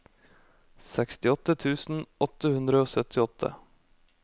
sekstiåtte tusen åtte hundre og syttiåtte